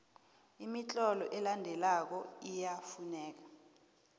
imitlolo elandelako iyafuneka